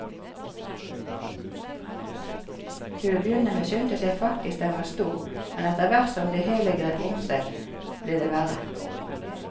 Til å begynne med syntes jeg faktisk den var stor, men etterhvert som det hele grep om seg, ble det verre.